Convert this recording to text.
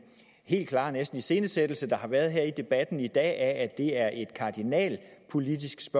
helt klare næsten iscenesættelse der har været her i debatten i dag af at det er et politisk